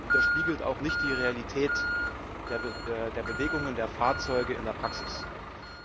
Er spiegelt auch nicht die Realität der Bewegungen der Fahrzeuge in der Praxis wider.